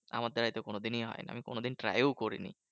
আমার দ্বারায় তো কোনোদিনই হয় না। আমি কোনোদিন try ও করিনি।